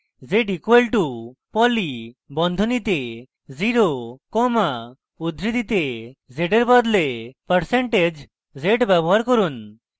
z = poly বন্ধনীতে 0 comma উদ্ধৃতিতে z এর বদলে z =% পার্সেন্টেজ z ব্যবহার করুন